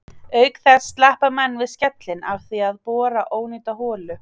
Auk þess sleppa menn við skellinn af því að bora ónýta holu.